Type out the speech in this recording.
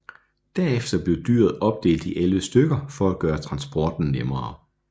Derefter blev dyret opdelt i 11 stykker for at gøre transporten nemmere